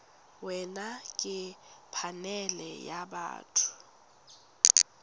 wena ke phanele ya batho